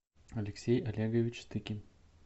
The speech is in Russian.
алексей олегович стыкин